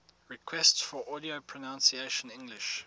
requests for audio pronunciation english